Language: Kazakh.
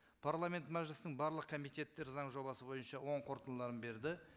парламент мәжілістің барлық комитеттері заң жобасы бойынша оң қорытындыларын берді